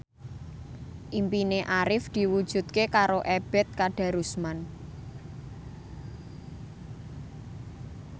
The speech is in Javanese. impine Arif diwujudke karo Ebet Kadarusman